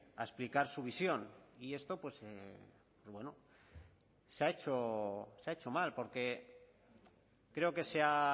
a explicar su visión y esto pues se ha hecho mal porque creo que se